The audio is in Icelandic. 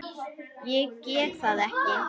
Ég get það ekki